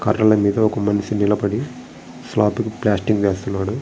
కర్రల మీద ఒక మనిషి నిలబడి స్లాబ్ కి ప్లాస్టింగ్ చేస్తున్నాడు.